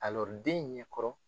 den in ɲɛ kɔrɔ.